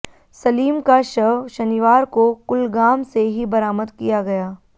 सलीम का शव शनिवार को कुलगाम से ही बरामद किया गया